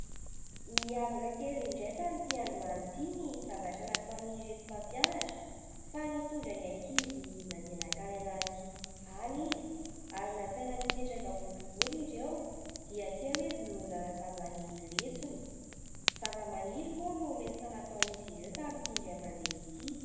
Niavaka kely indray tamin'ity androany ity ny zavatra nataon'ireto mpampianatra fa nitondra ny ankizy nandeha nakany anaty aly izy ary nasaina nipetraka boribory ireo dia teo hoe izy no nanazava ny lesona, zavamaniry moa no lesona nataon'izy ireo tamin'ity indray mandeha ity.